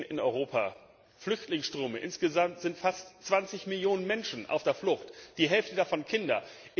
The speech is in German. in Europa sehen, Flüchtlingsströme insgesamt sind fast 20 Millionen Menschen auf der Flucht, die Hälfte davon Kinder.